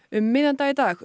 um miðjan dag í dag